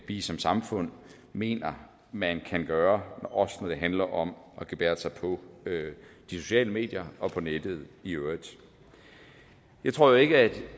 vi som samfund mener man kan gøre også når det handler om at gebærde sig på de sociale medier og på nettet i øvrigt jeg tror jo ikke at